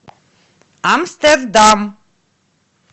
амстердам